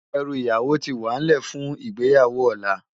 Èrú iyáwó ti wánlè fún igbéyáwó òlá